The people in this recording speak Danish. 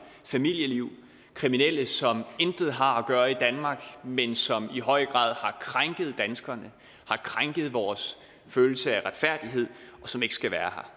familieliv kriminelle som intet har at gøre i danmark men som i høj grad har krænket danskerne har krænket vores følelse af retfærdighed og som ikke skal være